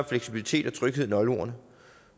fleksibilitet og tryghed nøgleordene